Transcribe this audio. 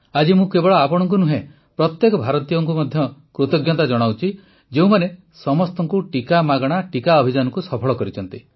ଆଜି ମୁଁ କେବଳ ଆପଣଙ୍କୁ ନୁହେଁ ପ୍ରତ୍ୟେକ ଭାରତୀୟଙ୍କୁ ମଧ୍ୟ କୃତଜ୍ଞତା ଜଣାଉଛି ଯେଉଁମାନେ ସମସ୍ତଙ୍କୁ ଟିକାମାଗଣା ଟିକା ଅଭିଯାନକୁ ସଫଳ କରିଛନ୍ତି